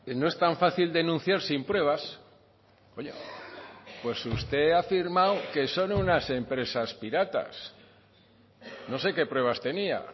no es tan fácil denunciar sin pruebas pues usted ha afirmado que son unas empresas piratas no sé qué pruebas tenía